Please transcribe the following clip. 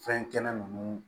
Fɛn kɛnɛ ninnu